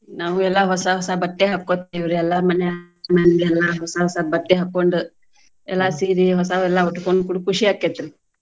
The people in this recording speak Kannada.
ನಾವು ಎಲ್ಲಾ ಹೊಸಾ ಹೊಸಾ ಬಟ್ಟೆ ಹಾಕ್ಕೊತೇವ್ರಿ ಎಲ್ಲರ್ ಮನ್ಯಾ ಮನೆ ಮಂದಿ ಎಲ್ಲಾ ಹೊಸಾ ಹೊಸಾ ಬಟ್ಟೆ ಹಾಕ್ಕೊಂಡ್, ಎಲ್ಲಾ ಸೀರಿ ಹೊಸಾವೆಲ್ಲಾ ಉಟ್ಕೊಂಡ್ full ಖುಷಿ ಆಕೈತ್ರಿ.